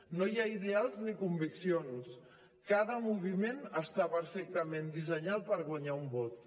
no hi ha ideals ni conviccions cada moviment està perfectament dissenyat per guanyar un vot